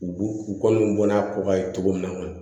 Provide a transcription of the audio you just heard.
U u kɔni bɔn n'a ko ka ye cogo min na kɔni